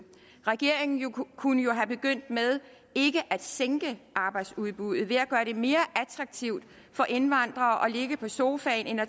regeringen kunne kunne jo have begyndt med ikke at sænke arbejdsudbuddet ved at gøre det mere attraktivt for indvandrere at ligge på sofaen end at